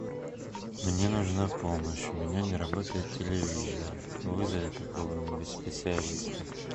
мне нужна помощь у меня не работает телевизор вызови какого нибудь специалиста